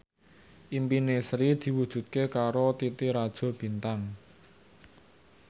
impine Sri diwujudke karo Titi Rajo Bintang